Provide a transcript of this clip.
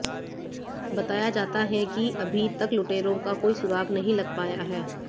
बताया जाता है कि अभी तक लूटेरों का कोई सुराग नहीं लग पाया है